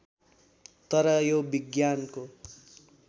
तर यो विज्ञानको